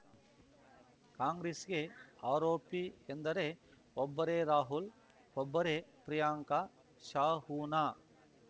ಕಾಂಗ್ರೆಸ್‌ಗೆ ಆರ್‌ಒಪಿ ಎಂದರೆ ಒಬ್ಬರೇ ರಾಹುಲ್‌ ಒಬ್ಬರೇ ಪ್ರಿಯಾಂಕಾ ಶಾ ಉನಾ